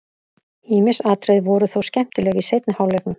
Ýmis atriði voru þó skemmtileg í seinni hálfleiknum.